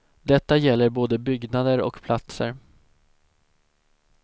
Detta gäller både byggnader och platser.